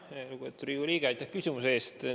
Lugupeetud Riigikogu liige, aitäh küsimuse eest!